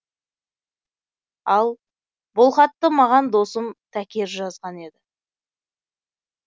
ал бұл хатты маған досым такер жазған еді